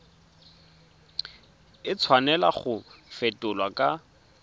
a tshwanela go fetolwa kwa